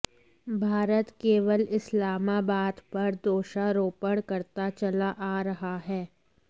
भारत केवल इस्लामाबाद पर दोषारोपण करता चला आ रहा है